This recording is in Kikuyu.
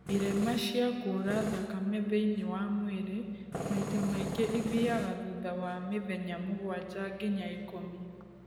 irema cia kura thakame thĩiniĩ wa mwĩrĩ maita maingĩ ithiaga thutha wa mĩthenya mũgwanja nginya ikũmi